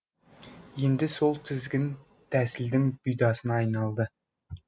енді сол тізгін тәсілдің бұйдасына айналды